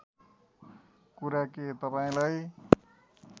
कुरा के तपाईँलाई